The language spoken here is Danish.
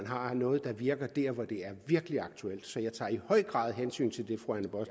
har noget der virker der hvor det virkelig er aktuelt så jeg tager i høj grad hensyn til det